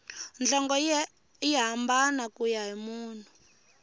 nhlonge yi hambana kuya hi munhu